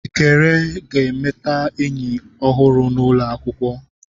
Ekere ga-emeta enyi ọhụrụ n'ụlọ akwụkwọ.